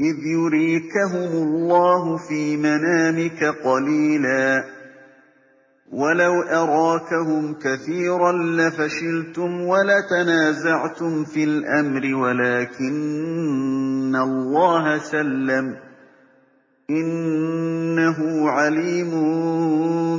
إِذْ يُرِيكَهُمُ اللَّهُ فِي مَنَامِكَ قَلِيلًا ۖ وَلَوْ أَرَاكَهُمْ كَثِيرًا لَّفَشِلْتُمْ وَلَتَنَازَعْتُمْ فِي الْأَمْرِ وَلَٰكِنَّ اللَّهَ سَلَّمَ ۗ إِنَّهُ عَلِيمٌ